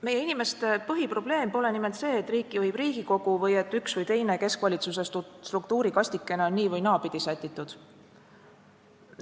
Meie inimeste põhiprobleem pole nimelt see, et riiki juhib Riigikogu või et üks või teine keskvalitsuse struktuurikastikene on nii- või naapidi sätitud.